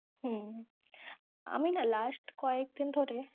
হম আমি না last কয়েকদিন ধরে